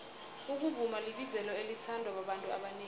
ukuvuma libizelo elithandwa babantu abanengi